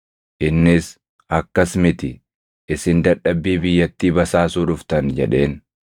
Innis, “Akkas miti; isin dadhabbii biyyattii basaasuu dhuftan” jedheen.